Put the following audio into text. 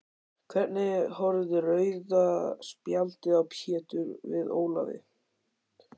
Hvernig horfði rauða spjaldið á Pétur við Ólafi?